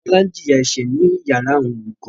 Tọ́lá ń jìyà ẹ̀ṣẹ̀ ní yàrá àwọn olùkọ.